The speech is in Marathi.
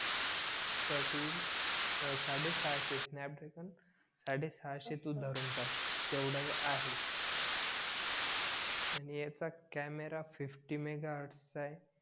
तर तू अं साडेसहाशे स्नॅपद्रगेन सडेसाहहशे तू तू धरून चाल तेव्हडा आहे आणि ह्याचा कॅमेरा फिफ्टी मेघाहॅर्डस चा आहे